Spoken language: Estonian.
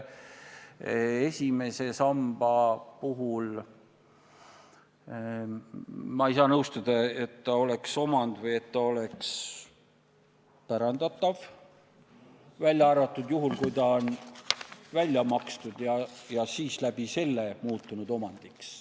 Esimese samba puhul ei saa ma nõustuda, et see oleks omand või et see oleks pärandatav, välja arvatud juhul, kui see on välja makstud ja selle kaudu omandiks muutunud.